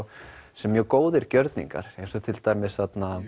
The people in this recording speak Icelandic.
sem mjög góðir gjörningar eins og til dæmis